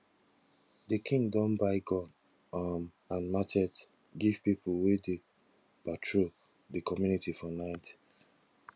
di king don buy gun um and matchet give pipu wey dey patrol di community for night